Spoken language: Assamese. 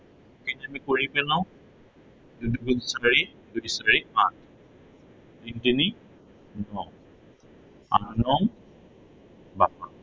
এইটো আমি কৰি পেলাও দুই দুগুণ চাৰি, দুই চাৰি আঠ তিনি তিনি ন আঠ নং বাসত্তৰ